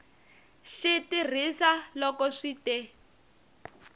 xi tirhisa loko swi te